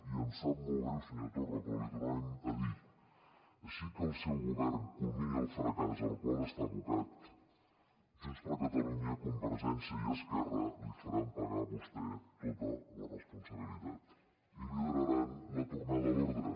i em sap molt greu senyor torra però l’hi tornem a dir així que el seu govern culmini el fracàs al qual està abocat junts per catalunya convergència i esquerra li faran pagar a vostè tota la responsabilitat i lideraran la tornada a l’ordre